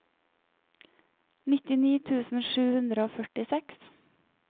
nittini tusen sju hundre og førtiseks